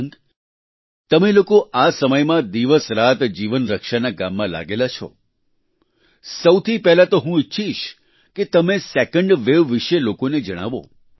શશાંક તમે લોકો આ સમયમાં દિવસરાત જીવન રક્ષાના કામમાં લાગેલા છો સૌથી પહેલા તો હું ઈચ્છીશ કે તમે સેકન્ડ વેવ વિશે લોકોને જણાવો